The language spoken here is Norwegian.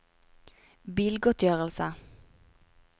bilgodtgjørelse